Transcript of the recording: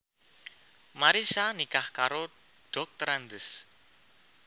Marissa nikah karo Drs